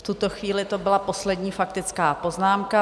V tuto chvíli to byla poslední faktická poznámka.